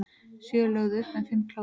Sjö lögðu upp en fimm kláruðu